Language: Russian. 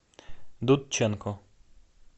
дудченко